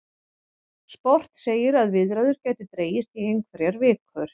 Sport segir að viðræður gætu dregist í einhverjar vikur